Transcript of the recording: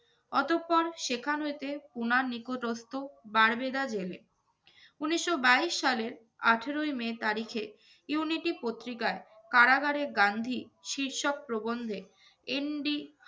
অতঃপর সেখান হইতে পুনার নিকটস্থ বার্বেদা জেলে। উনিশশো বাইশ সালের আঠেরোই মে তারিখে ইউনিটি পত্রিকায় কারাগারে গান্ধী শীর্ষক প্রবন্ধে এন. ডি.